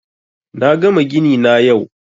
Na gama gini na yau